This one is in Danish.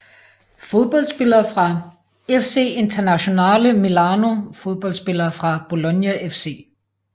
Fodboldspillere fra FC Internazionale Milano Fodboldspillere fra Bologna FC